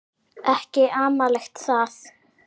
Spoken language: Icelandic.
Ekki amalegt það.